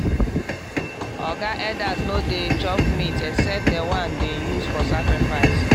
oga elders no dey chop meat except the one dem use for sacrifice.